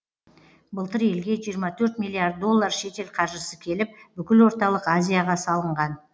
былтыр елге жиырма төрт миллиард доллар шетел қаржысы келіп бүкіл орталық азияға салынған